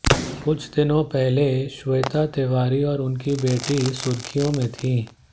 कुछ दिनों पहले श्वेता तिवारी और उनकी बेटी सुर्खियों में थीं